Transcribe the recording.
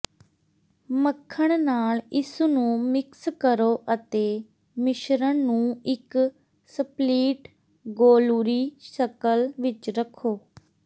ਮੱਖਣ ਨਾਲ ਇਸ ਨੂੰ ਮਿਕਸ ਕਰੋ ਅਤੇ ਮਿਸ਼ਰਣ ਨੂੰ ਇੱਕ ਸਪਲੀਟ ਗੋਲੂਰੀ ਸ਼ਕਲ ਵਿੱਚ ਰੱਖੋ